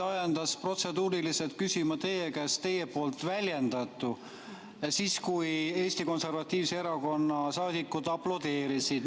Mind ajendas protseduuriliselt küsima teie käest teie väljendatu – siis, kui Eesti Konservatiivse Erakonna saadikud aplodeerisid.